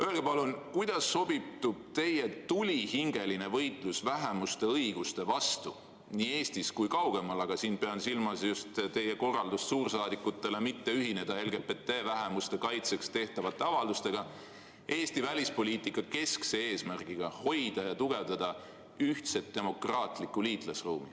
Öelge palun, kuidas sobitub teie tulihingeline võitlus vähemuste õiguste vastu nii Eestis kui kaugemal – ma pean silmas just teie korraldust suursaadikutele mitte ühineda LGBT-vähemuste kaitseks tehtavate avaldustega – Eesti välispoliitika keskse eesmärgiga hoida ja tugevdada ühtset demokraatlikku liitlasruumi.